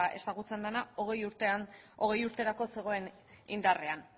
ezagutzen dena hogei urterako zegoen indarrean